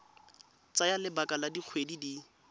tsaya lebaka la dikgwedi di